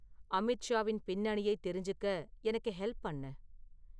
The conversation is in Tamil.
அமித்ஷாவின் பின்னணியை தெரிஞ்சிக்க எனக்கு ஹெல்ப் பண்ணு